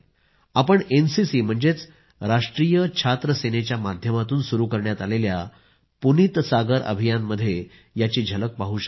आपण एनसीसीम्हणजेचराष्ट्रीय छात्र सेनेच्या माध्यमातून सुरू करण्यात आलेल्या पुनीत सागर अभियानमध्ये याची झलक पाहू शकता